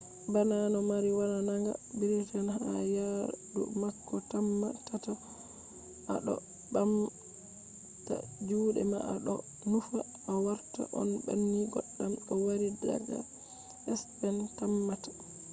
bana no mo wari daga briten ha yadu mako tamma ta to a ɗo ɓamta juɗe ma a ɗo nufa o warta on banning goddam o wari daga spen tammata